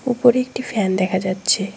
উপরে একটি ফ্যান দেখা যাচ্ছে।